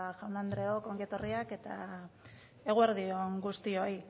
jaun eta andreok ongi etorriak eta eguerdi on guztioi